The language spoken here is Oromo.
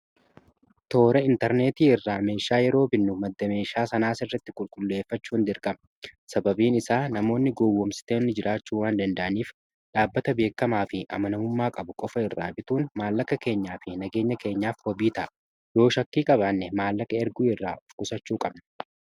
toora intarneetii irraa meeshaa yeroo binnu madda meeshaa sanaas irratti qulqulleeffachuu hin dirqama sababiin isaa namoonni gowwomsiteenni jiraachuu waan danda'aniif dhaabbata beekkamaa fi amanamummaa qabu qofa irraa bituun maallakka keenyaa fi nageenya keenyaaf hobiitaa yoo shakkii qabaanne maallaka erguu irraa ufkusachuu qabnu